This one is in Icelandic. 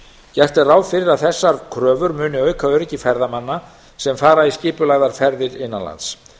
gert er ráð fyrir að þessar kröfur muni auka öryggi ferðamanna sem fara í skipulagðar ferðir innan lands